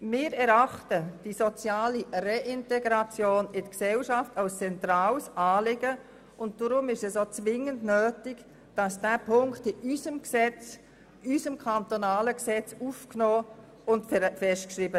Wir erachten die soziale Reintegration in die Gesellschaft als zentrales Anliegen, und deshalb ist es zwingend nötig, diesen Punkt in unser kantonales Gesetz aufzunehmen.